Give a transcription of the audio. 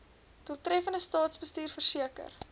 doeltreffende staatsbestuur verseker